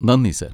നന്ദി, സർ.